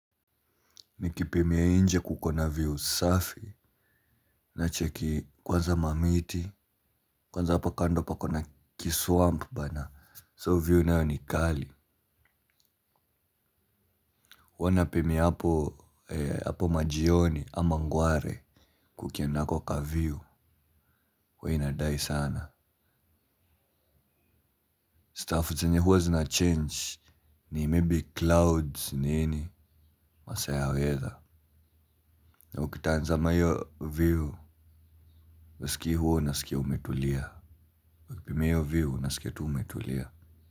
Nikipimia nje kuko na view safi. Nacheki kwanza mamiti. Kwanza hapa kando pako na kiswamp bana So view nayo ni kali. Huwa napimia hapo majioni ama ngware. Kukienda hako kaview huwa inadai sana Stuff zenye huwa zinachange. Ni maybe clouds nini. Masaa ya weather na ukitanzama hiyo view huskii huwa unasikia umetulia ukipimia hiyo view unasikia tu umetulia.